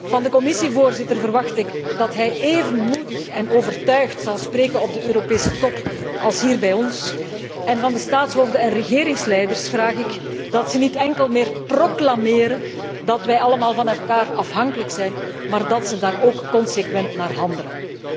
Van de Commissievoorzitter verwacht ik dat hij even moedig en overtuigd zal spreken op de Europese Top als hier bij ons, en van de staatshoofden en regeringsleiders vraag ik dat ze niet enkel meer proclameren dat wij allemaal van elkaar afhankelijk zijn, maar dat ze daar ook consequent naar handelen.